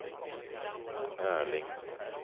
Erling